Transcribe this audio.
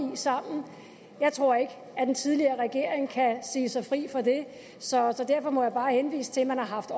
sammen jeg tror ikke den tidligere regering kan sige sig fri for det så derfor må jeg bare henvise til at man har haft